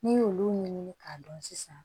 N'i y'olu ɲini k'a dɔn sisan